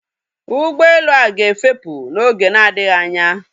Ụgbọelu a ga-efepù n'oge na-adịghị anya